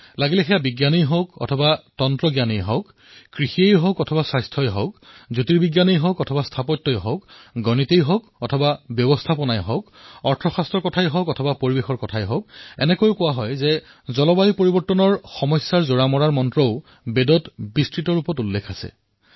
লাগিলে সেয়া বিজ্ঞানেই হওক অথবা তন্ত্ৰজ্ঞানেই হওক কৃষিয়েই হওক অথবা স্বাস্থ্যই হওক মহাকাশ বিজ্ঞানেই হওক অথবা স্থাপত্যকলাই হওক গণিতেই হওক অথবা ব্যৱসায়েই হওক অৰ্থশাস্ত্ৰই হওক অথবা পৰিৱেশৰ কথায়েই হওক কোৱা হয় যে গ্লোবেল ৱাৰ্মিঙৰ প্ৰত্যাহ্বানসমূহক মোকাবিলা কৰাৰ মন্ত্ৰ আমাৰ বেদত ব্যাখ্যা কৰা আছে